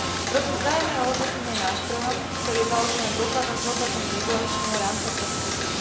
Proces vzájomného hodnotenia je nástrojom, ktorý je založený na dôkladnom zhodnotení regulačného rámca pre služby.